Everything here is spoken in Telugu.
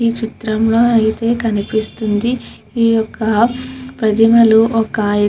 ఈ చిత్రం లో అయతె కనిపిస్తుంది ఈ యొక్క ప్రతిమలు ఒక --